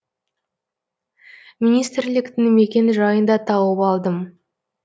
министрліктің мекен жайын да тауып алдым